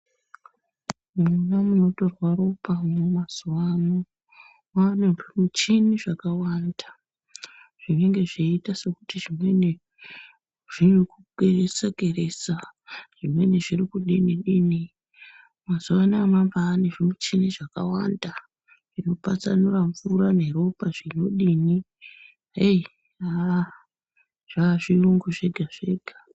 Mundau inotorwa ropa mazuwa ano mwaane muchini zvakawanda zvinenge zveiita sekuti zvimweni zvinokeresa keresa zvimweni zviri kudini dini mazuwano mwabaane zvimichini zvakawanda zvinopatsanura mvura neropa zvinodi aah! heyi aah zvaazvirungu zvega zvega.